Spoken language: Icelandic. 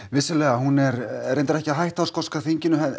vissulega hún er reyndar ekki að hætta á þingi